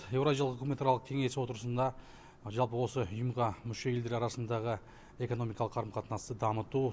еуразиялық үкіметаралық кеңес отырысында жалпы осы ұйымға мүше елдер арасындағы экономикалық қарым қатынасты дамыту